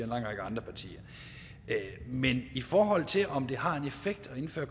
lang række andre partier men i forhold til om det har en effekt at indføre